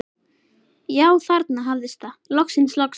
Já, þarna hafðist það, loksins, loksins.